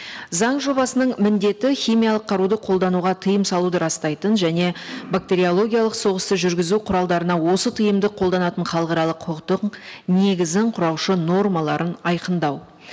заң жобасының міндеті химиялық қаруды қолдануға тыйым салуды растайтын және бактериологиялық соғысты жүргізу құралдарына осы тыйымды қолданатын халықаралық құқықтың негізін құраушы нормаларын айқындау